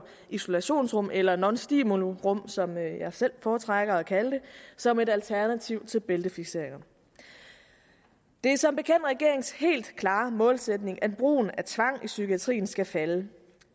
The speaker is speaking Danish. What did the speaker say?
isolationsrum eller nonstimulirum som jeg selv foretrækker at kalde det som et alternativ til bæltefikseringer det er som bekendt regeringens helt klare målsætning at brugen af tvang i psykiatrien skal falde det